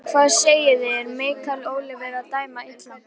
Hvað segiði, er Michael Oliver að dæma illa?